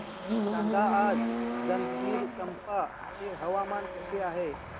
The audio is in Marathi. सांगा आज जंजगिरचंपा चे हवामान कसे आहे